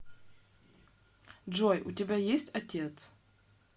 джой у тебя есть отец